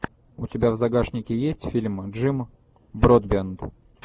у тебя в загашнике есть фильм джим бродбент